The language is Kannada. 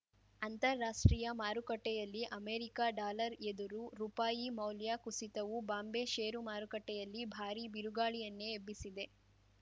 ಅಂತಾರಾಷ್ಟ್ರೀಯ ಮಾರುಕಟ್ಟೆಯಲ್ಲಿ ಅಮೆರಿಕ ಡಾಲರ್‌ ಎದುರು ರುಪಾಯಿ ಮೌಲ್ಯ ಕುಸಿತವು ಬಾಂಬೆ ಷೇರು ಮಾರುಕಟ್ಟೆಯಲ್ಲಿ ಭಾರೀ ಬಿರುಗಾಳಿಯನ್ನೇ ಎಬ್ಬಿಸಿದೆ